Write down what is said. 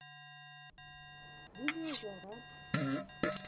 видеожара